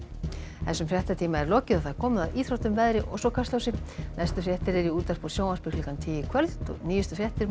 þessum fréttatíma er lokið og komið að íþróttum veðri og svo Kastljósi næstu fréttir eru í útvarpi og sjónvarpi klukkan tíu í kvöld og nýjustu fréttir má